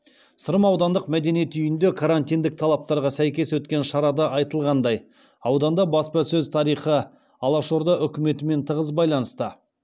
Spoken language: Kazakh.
сырым аудандық мәдениет үйінде карантиндік талаптарға сәйкес өткен шарада айтылғандай ауданда баспасөз тарихы алашорда үкіметімен тығыз байланысты